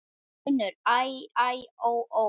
UNNUR: Æ, æ, ó, ó!